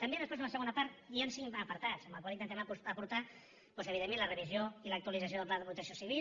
també després en la segona hi han cinc apartats amb els quals intentem aportar doncs evidentment la revisió i l’actualització del pla de protecció civil